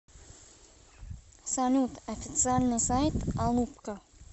салют официальный сайт алупка